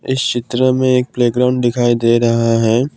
इस चित्र में एक प्लेग्राउंड दिखाई दे रहा है।